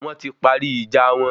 Wọ́n ti parí ìjà wọn